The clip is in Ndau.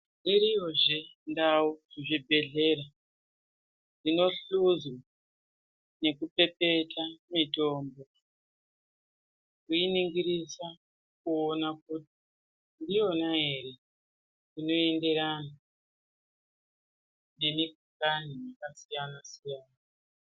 Iriyo zvee ndau muzvibhedhlera dzinohlozi nekupepeta mitombo veiningirisa kuona kuti ndiyona ere inoenderana nemikhuhlani yakasiyana siyana.